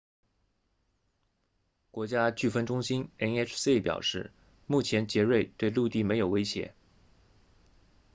国家飓风中心 nhc 表示目前杰瑞对陆地没有威胁